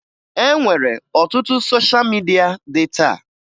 E nwere ọtụtụ sosha midia dị taa